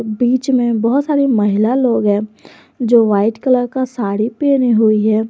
बीच मे बहुत सारी महिला लोग हैं जो व्हाइट कलर का साड़ी पहने हुई हैं।